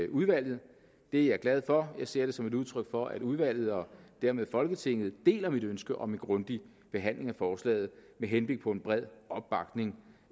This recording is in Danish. udvalget og det er jeg glad for jeg ser det som et udtryk for at udvalget og dermed folketinget deler mit ønske om en grundig behandling af forslaget med henblik på en bred opbakning